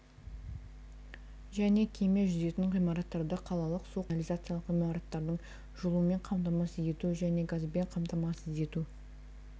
және кеме жүзетін ғимараттарды қалалық су құбырлық-канализациялық ғимараттардың жылумен қамтамасыз ету және газбен қамтамасыз ету